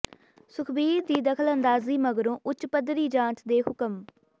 ਸੁਖਬੀਰ ਦੀ ਦਖਲਅੰਦਾਜ਼ੀ ਮਗਰੋਂ ਉੱਚ ਪੱਧਰੀ ਜਾਂਚ ਦੇ ਹੁਕਮ